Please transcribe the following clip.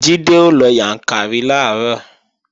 Jídé ó lọ Yàǹkàrí làárọ̀